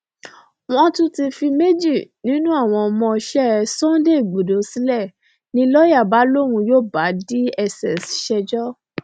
wọn tún ti fi méjì nínú àwọn ọmọọṣẹ sunday igbodò sílẹ ni lọ́yà bá lóun yóò bá dss ṣẹjọ